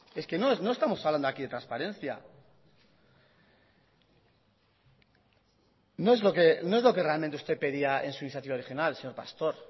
no estamos hablando aquí de transparencia no es lo que realmente usted pedía en su iniciativa original señor pastor